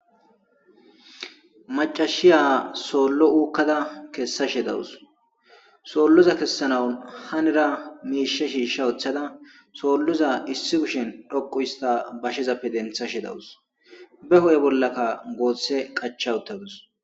Macashiya soollo oykada kesaashe dawus sooloza kesanawu hanira miishshe shiishsh woththda sooloza issi kushen dhoqqu hista woththada bashezappe denththashe dawus beayo bollakka goose qacha woththaduus